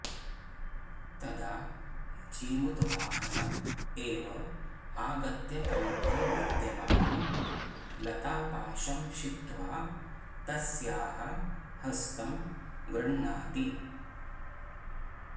तदा जीमूतवाहनः एव आगत्य कण्ठे विद्यमानं लतापाशं क्षिप्त्वा तस्याः हस्तं गृह्णाति